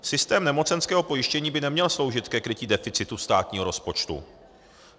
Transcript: Systém nemocenského pojištění by neměl sloužit ke krytí deficitu státního rozpočtu.